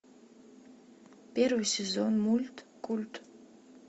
первый сезон мульт культ